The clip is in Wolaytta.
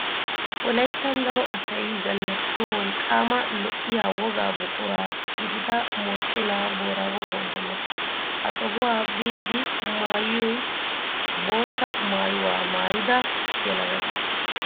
Wolayittan daro asay zannaqiyo wolqqaama lo''iyaa wogaa buqura gidida moochchenaa boraago gonggoluwaa. Ha sohuwaa biiddi maayyiyo bootta maayyuwaa maayida yelagata